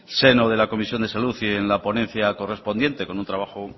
seno de la comisión de salud y en la ponencia correspondiente con un trabajo